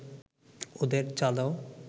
ওদের চা দাও